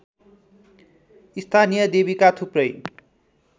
स्थानीय देवीका थुप्रै